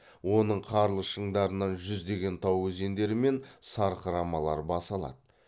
оның қарлы шыңдарынан жүздеген тау өзендері мен сарқырамалар бас алады